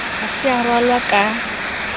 ha se a ralwa ka